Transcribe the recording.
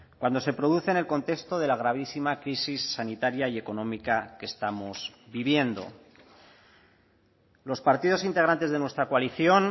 cuando se produce en el contexto de la gravísima crisis sanitaria y económica que estamos viviendo los partidos integrantes de nuestra coalición